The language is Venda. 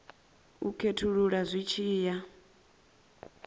u khethulula zwi tshi ya